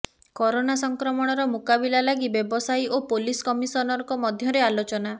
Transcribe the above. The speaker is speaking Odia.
କରୋନା ସଂକ୍ରମଣର ମୁକାବିଲା ଲାଗି ବ୍ୟବସାୟୀ ଓ ପୋଲିସ କମିଶନରଙ୍କ ମଧ୍ୟରେ ଆଲୋଚନା